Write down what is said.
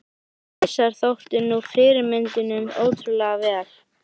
Þessir hausar þóttu ná fyrirmyndunum ótrúlega vel.